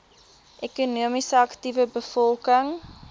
ekonomies aktiewe bevolking